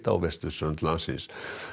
á vesturströnd landsins